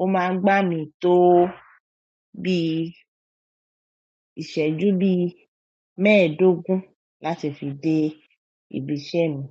ó máa ń gbà mí tó bí ìṣẹ́jú bí mẹ́ẹ̀ẹ́dógún láti fi dé ibi iṣẹ́ mi.